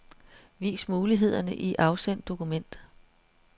Vis mulighederne i afsend dokument.